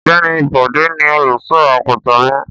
Ọ̀gbẹ́ni Bọ̀dé ni olùṣọ́-àgùntàn mi.